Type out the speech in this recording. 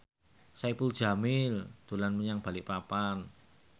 Saipul Jamil dolan menyang Balikpapan